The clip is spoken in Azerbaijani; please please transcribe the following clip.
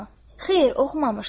Xeyr, oxumamışdım.